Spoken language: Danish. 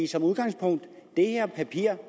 som udgangspunkt er det her papir